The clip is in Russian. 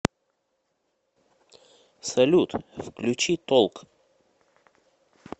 салют включи толк